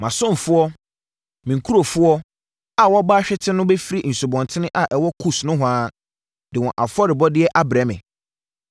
Mʼasomfoɔ, me nkurɔfoɔ a wɔabɔ ahwete no bɛfiri nsubɔntene a ɛwɔ Kus nohoa de wɔn afɔrebɔdeɛ abrɛ me.